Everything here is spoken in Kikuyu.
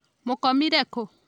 Mũkomire ku?